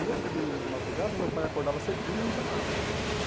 Nesse domingo de madrugada, meu pai acordava cedinho e me chamava.